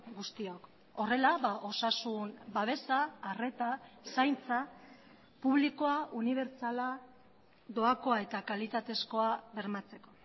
guztiok horrela osasun babesa arreta zaintza publikoa unibertsala doakoa eta kalitatezkoa bermatzeko